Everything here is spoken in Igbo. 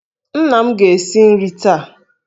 Nna m ga-esi nri taa.